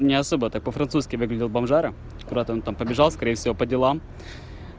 не особо-то по-французски выглядел бомжара куда-то он там побежал скорее всего по делам